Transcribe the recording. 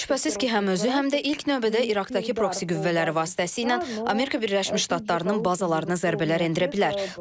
İran şübhəsiz ki, həm özü, həm də ilk növbədə İraqdakı proksi qüvvələri vasitəsilə Amerika Birləşmiş Ştatlarının bazalarına zərbələr endirə bilər.